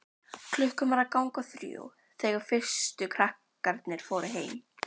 Klukkan var að ganga þrjú þegar fyrstu krakkarnir fóru heim.